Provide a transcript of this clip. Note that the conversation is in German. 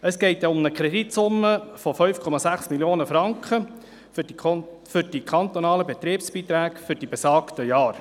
Es geht um eine Kreditsumme von 5,6 Mio. Franken für die kantonalen Betriebsbeiträge für die besagten Jahre.